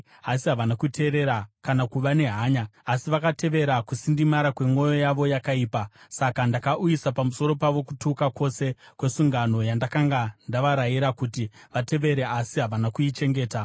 Asi havana kuteerera kana kuva nehanya; asi vakatevera kusindimara kwemwoyo yavo yakaipa. Saka ndakauyisa pamusoro pavo kutuka kwose kwesungano yandakanga ndavarayira kuti vatevere asi havana kuichengeta.’ ”